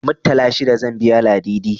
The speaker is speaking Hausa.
Muttala shida zan biya Ladidi.